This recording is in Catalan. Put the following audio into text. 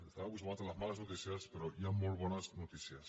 estem acostumats a les males notícies però hi han molt bones notícies